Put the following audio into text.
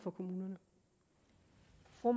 for